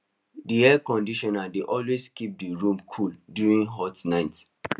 d air conditioner dey always keep the room cool during hot nights